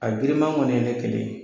A girin ma kɔni ye ne kelen ye.